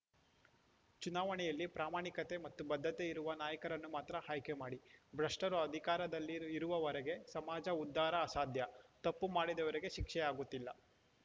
ಚುನಾವಣೆಯಲ್ಲಿ ಪ್ರಾಮಾಣಿಕತೆ ಮತ್ತು ಬದ್ಧತೆ ಇರುವ ನಾಯಕರನ್ನು ಮಾತ್ರ ಆಯ್ಕೆ ಮಾಡಿ ಭ್ರಷ್ಟರು ಅಧಿಕಾರದಲ್ಲಿ ಇ ಇರುವವರೆಗೆ ಸಮಾಜ ಉದ್ಧಾರ ಅಸಾಧ್ಯ ತಪ್ಪು ಮಾಡಿದವರಿಗೆ ಶಿಕ್ಷೆಯಾಗುತ್ತಿಲ್ಲ